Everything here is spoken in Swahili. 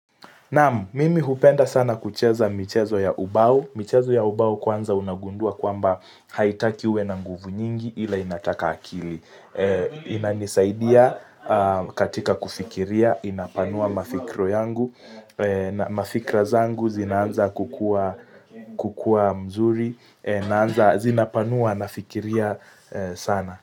Naam, mimi hupenda sana kucheza michezo ya ubau. Michezo ya ubao kwanza unagundua kwamba haitaki uwe na nguvu nyingi ila inataka akili. Inanisaidia katika kufikiria, inapanua mafikro yangu, na mafikra zangu zinaanza kukua mzuri, zinapanua nafikiria sana.